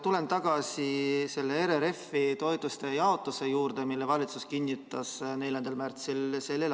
Tulen tagasi RRF‑i toetuste jaotuse juurde, mille valitsus kinnitas 4. märtsil s.